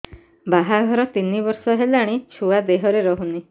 ବାହାଘର ତିନି ବର୍ଷ ହେଲାଣି ଛୁଆ ଦେହରେ ରହୁନି